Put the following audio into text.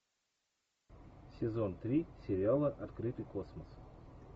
сезон три сериала открытый космос